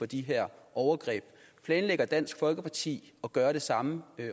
de her overgreb planlægger dansk folkeparti at gøre det samme